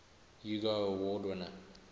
hugo award winner